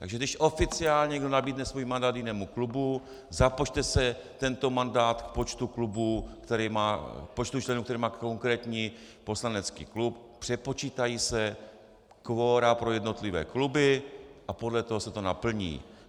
Takže když oficiálně někdo nabídne svůj mandát jinému klubu, započte se tento mandát k počtu členů, který má konkrétní poslanecký klub, přepočítají se kvora pro jednotlivé kluby a podle toho se to naplní.